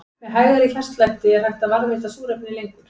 Með hægari hjartslætti er hægt að varðveita súrefni lengur.